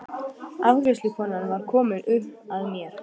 Afgreiðslukonan var komin upp að mér.